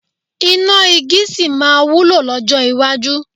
Iná igi sì máa wúlò lọ́jọ́ iwájú.